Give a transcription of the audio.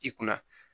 I kunna